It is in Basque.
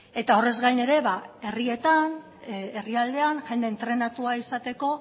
eta horrez gain ere ba herrietan herrialdean jende entrenatua izateko